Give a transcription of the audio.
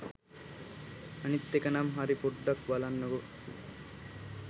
අනිත් එකනම් හරි පොඩ්ඩක් බලන්නකෝ